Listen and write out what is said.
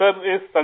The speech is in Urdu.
group captain